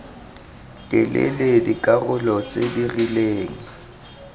telele dikarolo tse di rileng